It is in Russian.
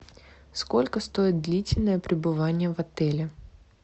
сколько стоит длительное пребывание в отеле